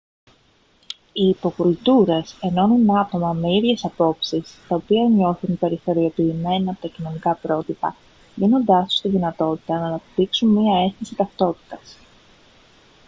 οι υποκουλτούρες ενώνουν άτομα με ίδιες απόψεις τα οποία νιώθουν περιθωριοποιημένα από τα κοινωνικά πρότυπα δίνοντάς τους τη δυνατότητα να αναπτύξουν μια αίσθηση ταυτότητας